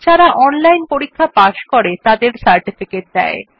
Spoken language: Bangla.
যারা অনলাইন পরীক্ষা পাস করে তাদের সার্টিফিকেট দেয়